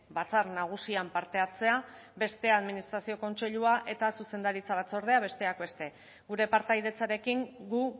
batzar nagusian parte hartzea beste bat administrazio kontseilua eta zuzendaritza batzordea besteak beste gure partaidetzarekin gu